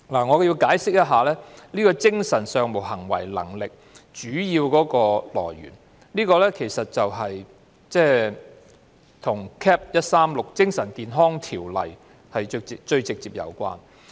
我要解釋一下，當初使用"精神上無行為能力"一詞，其實與《精神健康條例》直接有關。